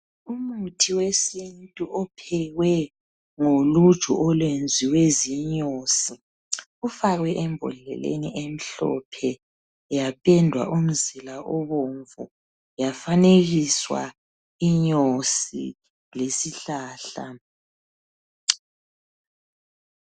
Umuthi wesintu ophekwe ngoluju olwenziwe zinyosi ufakwe embodleleni emhlophe yapendwa umzila obomvu yafanekiswa inyosi lesihlahla.